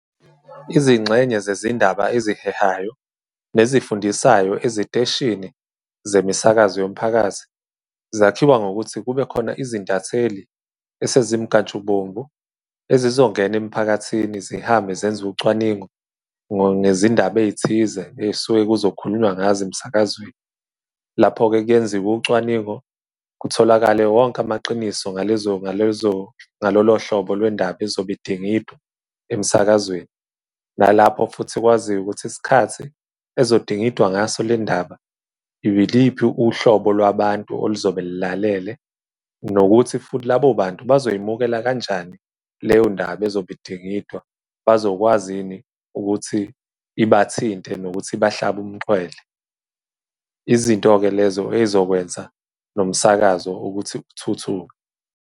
Izingxenye zezindaba ezihehayo nezifundisayo eziteshini zemisakazo yomphakathi zakhiwa ngokuthi kube khona izintatheli esezimnkantshubomvu ezizongena emiphakathini zihambe zenze ucwaningo ngezindaba ey'thize ey'suke kuzo khulunywa ngazo emsakazweni. Lapho-ke kuyenziwa ucwaningo kutholakale wonke amaqiniso ngalezo, ngalolo hlobo lwendaba ezobe idingidwa emsakazweni. Nalapho futhi okwaziyo ukuthi isikhathi ezodingidwa ngaso lendaba, iliphi uhlobo lwabantu oluzobe lilalele, nokuthi futhi labo bantu bazoy'mukela kanjani leyo ndaba ezobe idingidwa, bazokwazi yini ukuthi ibathinte nokuthi ibahlabe umxhwele? Izinto-ke lezo ezokwenza nomsakazo ukuthi kuthuthuke.